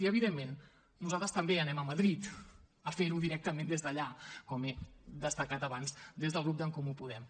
i evidentment nosaltres també anem a madrid a fer ho directament des d’allà com he destacat abans des del grup d’en comú podem